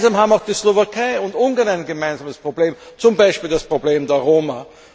Gemeinsam haben auch die Slowakei und Ungarn ein gemeinsames Problem, zum Beispiel das Problem der Roma.